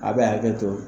A bɛ hakɛ to